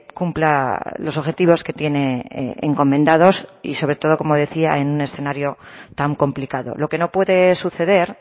cumpla los objetivos que tiene encomendados y sobre todo como decía en un escenario tan complicado lo que no puede suceder